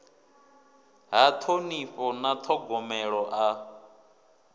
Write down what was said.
ha ṱhonifho na ṱhogomelo a